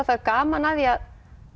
það er gaman að því að